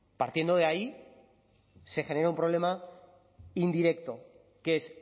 partiendo de ahí se genera un problema indirecto que es